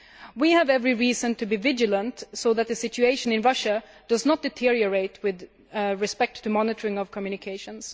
We have every reason to be vigilant so that the situation in Russia does not deteriorate with respect to the monitoring of communications.